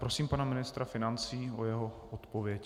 Prosím pana ministra financí o jeho odpověď.